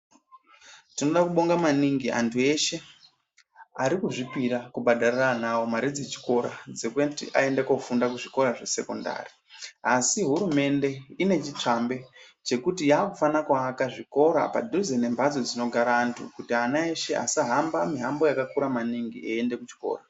Tinoda kubonga maningi antu eshe ari kuzvipira kubhadharira ana avo mari dzechikora dzekuti aende kofunda zvikora zvesekondari. Asi hurumende ine chitsvambe chekuti yaakufana kuvaka zvikora padhuze nemhatso dzinogara antu kuti ana eshe asahamba muhambo vakakura maningi eiende kuchikora.